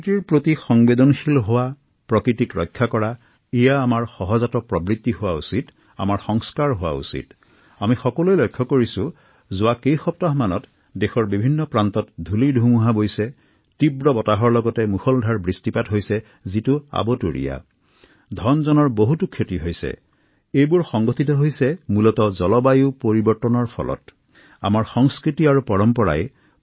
প্ৰকৃতিৰ প্ৰতি সহনশীল হওক প্ৰকৃতিক ৰক্ষা কৰকপ্ৰকৃততে এইধৰণৰ চিন্তাচাৰ্চা আমাৰ সংস্কৃতিৰ অংশ হোৱা উচিত